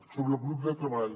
sobre el grup de treball